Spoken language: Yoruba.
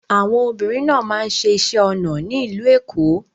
Àwọn obìnrin náà máa ń ṣẹ iṣẹ́ onà ní ilú Ékó